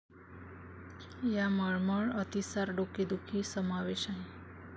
या मळमळ, अतिसार, डोकेदुखी समावेश आहे.